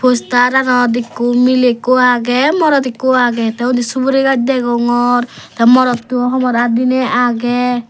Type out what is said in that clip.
posteranot ikko miley ikko agey morot ikko agey tey undi suguri gaaj degongor tey morotto homor aat diney agey.